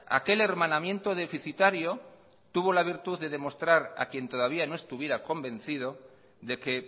aquel hermanamiento deficitario tuvo la virtud de demostrar a quien todavía no estuviera convencido de que